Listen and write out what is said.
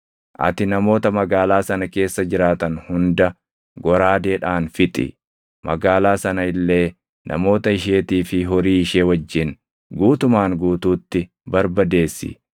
ati namoota magaalaa sana keessa jiraatan hunda goraadeedhaan fixi; magaalaa sana illee namoota isheetii fi horii ishee wajjin guutumaan guutuutti barbadeessi.